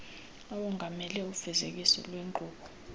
awongamele ufezekiso lweenkqubo